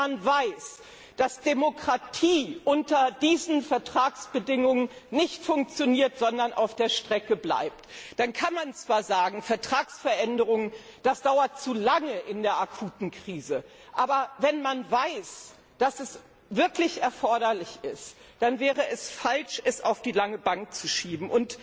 habe. Aber wenn man weiß, dass Demokratie unter diesen Vertragsbedingungen nicht funktioniert, sondern auf der Strecke bleibt, dann kann man zwar sagen, Vertragsänderungen dauern zu lange in der akuten Krise, doch wenn eine Änderung wirklich erforderlich ist, dann wäre es falsch, sie auf die lange Bank zu